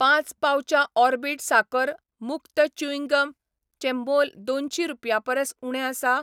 पांच पाउचां ऑर्बिट साकर मुक्त च्यूइंग गम चें मोल दोनशीं रुपयां परस उणें आसा?